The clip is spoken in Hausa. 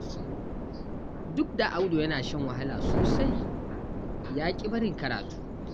Duk da Audu yana shan wahala sosai, ya ƙi barin karatu.